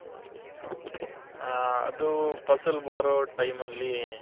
ಹ ಅದು ಪಸಲ್ ಬಾರೋ time ಅಲ್ಲಿ